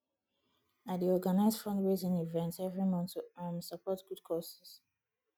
i dey organize fundraising events every month to um support good causes